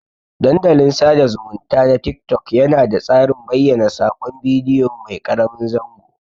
Dandalin sada zumunta na tik-tok yana da tsarin bayyana sakon bidiyo mai karamin zango.